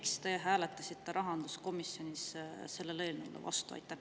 Miks te hääletasite rahanduskomisjonis sellele eelnõule vastu?